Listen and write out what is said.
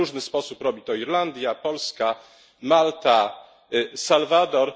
Na różny sposób robi to Irlandia, Polska, Malta, Salwador.